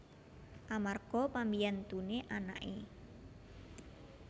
Amarga pambiyantuné anaké